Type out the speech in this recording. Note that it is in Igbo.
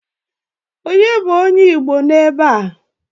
Onye bụ onye igbo n'ebe a?